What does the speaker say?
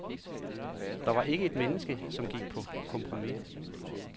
Der var ikke et menneske, som gik på kompromis.